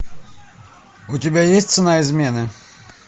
у тебя есть цена измены